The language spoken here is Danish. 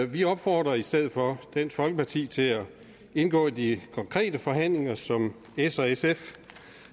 vi opfordrer i stedet for dansk folkeparti til at indgå i de konkrete forhandlinger som s og sf